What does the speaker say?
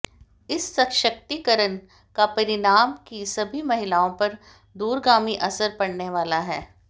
इस सशक्तीकरण का परिवार की सभी महिलाओं पर दूरगामी असर पड़ने वाला है